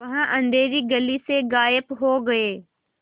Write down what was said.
वह अँधेरी गली से गायब हो गए